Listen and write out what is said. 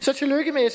så tillykke med i